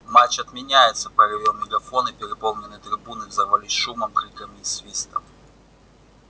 матч отменяется проревел мегафон и переполненные трибуны взорвались шумом крикам и свистом